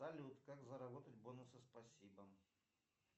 салют как заработать бонусы спасибо